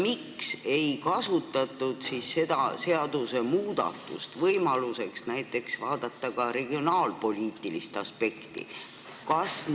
Miks ei kasutatud seda seaduse muutmist, et silmas pidada ka regionaalpoliitilist aspekti?